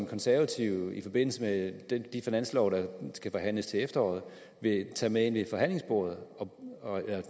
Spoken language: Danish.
konservative i forbindelse med den finanslov der skal forhandles til efteråret vil tage med ved forhandlingsbordet